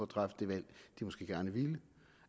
træffe det valg de måske gerne ville